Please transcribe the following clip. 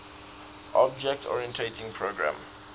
object oriented programming